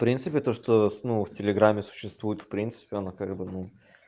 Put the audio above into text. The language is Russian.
в принципе то что ну в телеграме существуют в принципе она как бы ну